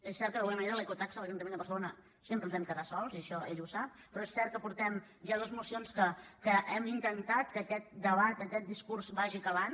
és cert que d’alguna manera en l’ecotaxa a l’ajuntament de barcelona sempre ens vam quedar sols i això ell ho sap però és cert que portem ja dues mocions en què hem intentat que aquest debat aquest discurs vagi calant